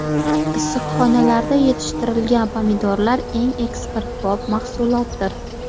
Issiqxonalarda yetishtirilgan pomidorlar eng eksportbop mahsulotdir.